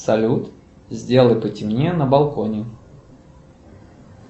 салют сделай потемнее на балконе